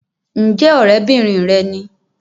Ǹjẹ́ ọ̀rẹ́bìnrin rẹ ni?